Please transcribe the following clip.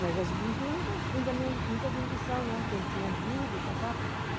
Mas a gente não tinha muita condição, não, porque a gente tinha dívida e tal.